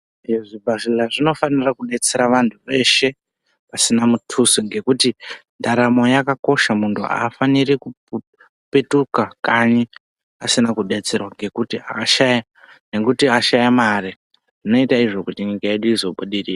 Zvibhadhlera zvinofanira kudetsera vantu veshe pasina mutuso ngokuti ndaramo yakakosha muntu afani kupetuka kanyi asina kudetserwa ngokuti ashaya mari zvinoita izvo kuti nyika yedu izobudirira.